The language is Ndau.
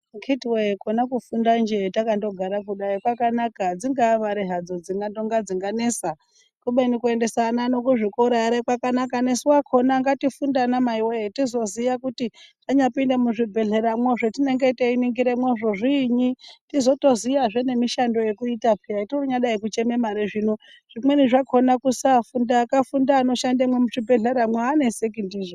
Akitiwe kona kufundanjee takandogara kudai kwakanaka dzinga mare hadzo dzingano dzinganesa kubeni kuendesa ana ano kuzvikora ere kwakanaka nesu akona ngatifunde anamai woye tizoziya kuti tanyapinde muzvibhedhleramwo zvatinenge teiningiramwo zviinyi tizotoziya zve ngemishando yekuita peya tonyadai kuchema mare zvino zvimweni zvakona kusafunda, akafunda anoshandemwo muzvibhedhleramwo abaneseki ndizvo.